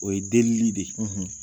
O ye denli de ye, .